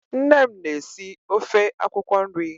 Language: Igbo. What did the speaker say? Nne m na-esi ofe akwụkwọ nri.